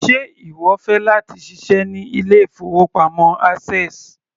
Ṣe ìwọ fẹ́ láti ṣiṣẹ́ ní ilé-ìfowópamọ́ access?